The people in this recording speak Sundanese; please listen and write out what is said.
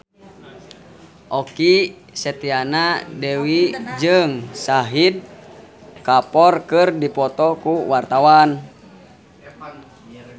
Okky Setiana Dewi jeung Shahid Kapoor keur dipoto ku wartawan